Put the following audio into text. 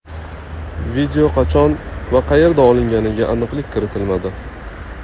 Video qachon va qayerda olinganiga aniqlik kiritilmadi.